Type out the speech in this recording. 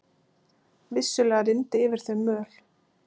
Vissulega rigndi yfir þau möl.